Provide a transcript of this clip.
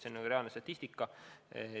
See on reaalne statistika.